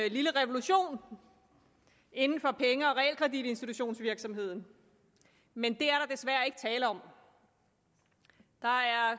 en lille revolution inden for penge og realkreditinstitutionsvirksomheden men det er desværre ikke tale om der er